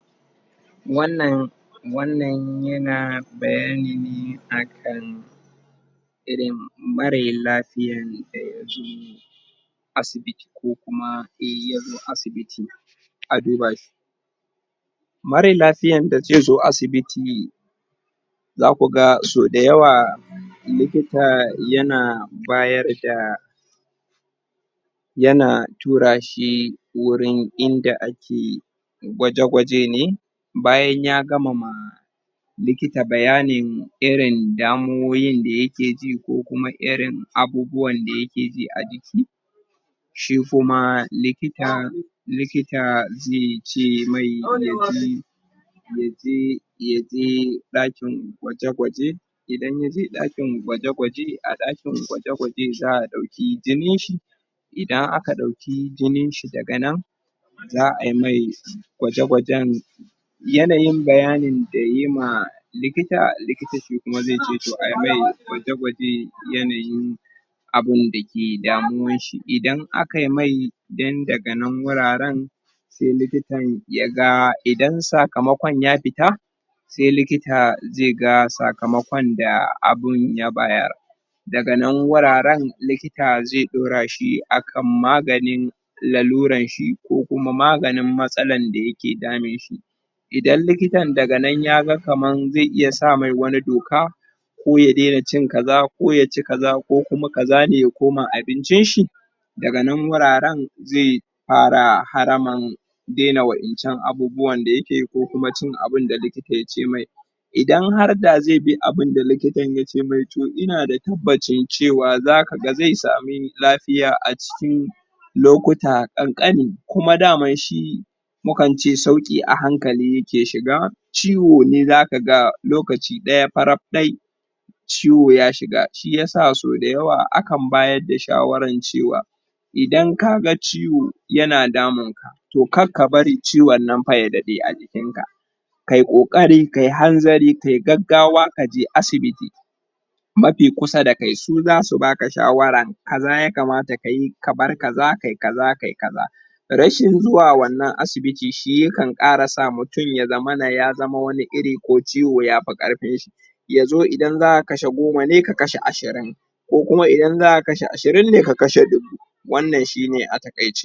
wannan yana bayani akan irin mare lafiyan da ya ji asibiti ko kuma sai ya zo asibiti aka duba shi mare lafiyan da zai zo asibiti za ku da so da yawa likita ya na bayar da yana tura shi wurin inda ake gwaje gwaje ne bayan ya gama ma likitan bayanin irin damo'in da ya ke ji ko kuma irin abubuwan da ya ke ji a jiki shi kuma likita zai ce mai ya je ya je dakin gwaje gwaje idan yaje dakin gwaje gwaje a dakin gwaje gwaje za'a dauki jinin shi idan aka dauki jinin shi daga nan za'a yi mai gwaje gwajen yanayin bayanin dayi ma likita likita ce zai ce toh a yi mai gwaje gwajen yanayin abun da ke damuwan shi idan aka yimai then daga nan sai likitan y aga idan sakamkon ya fita sai likitan ya ga sakamakon da likitan ya bayar da ga nan wuraren likita zai daura shi akan maganin laluran shi ko kuma maganin matsalan da ke damun shi idan likitan daga nanzai iya sa mai wani doka koya daina cin kaza ko ya ci kaza ko kuma kaza kada ya koma abincin shi daga nan wuraren zai fara haramin daina wayancan abubuwan da yake ko kuma cin abincin da likita ya ce mai idan har dazai bi abin da likita zai ce mai toh ina da tabbacin cewa za ka ga sai sami lafiya a cikin lokuta kankani kuma dama shi mukance saukia hankali yake shiga ciwo ne za ka ga lokaci daya farap daya ciwoya shiga shi ya saso da yawa akan bayar da shawaran cewa idan ka ga ciwo yana damun ka toh kar ka bar ciwon nan ya dade a jikin ka ka yi kokari ka yi hanzari ka yi gaggawa ka je asiibiti mafi kusa da kai su zasu baka shawaran kaza ya kamata ka yi ka bar kaza ka yi kaza ka yi kaza rashinzuwa wannan asibiti shi yakan sa mutum ya zamanaya zaman wani iri ko ciwo ya fi karfin shi yazo idan za'a kashe goma ne ya kashe ashirin ko kuma idan za'a kashe ashirin ne ka kashe dubu